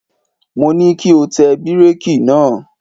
Mo ní kí o tẹ bíréèkì náà!